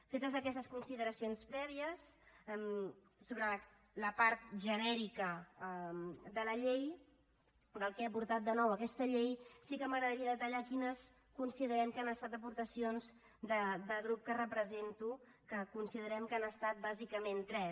fetes aquestes consideracions prèvies sobre la part genèrica de la llei del que ha aportat de nou aquesta llei sí que m’agradaria detallar quines considerem que han estat aportacions del grup que represento que considerem que han estat bàsicament tres